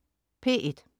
P1: